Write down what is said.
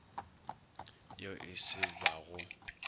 yo e se ba go